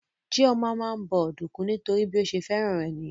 Chioma máa ń bọ ọ̀dùnkún nítorí pé bí ó ṣe fẹ́ràn rẹ̀ nìyẹn